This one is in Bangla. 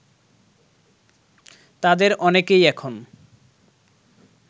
তাদের অনেকেই এখন